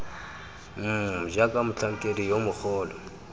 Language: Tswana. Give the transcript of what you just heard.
mmm jaaka motlhankedi yo mogolo